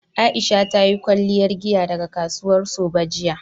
Aisha ta yi kwalliyar giya daga kasuwar Sabo jiya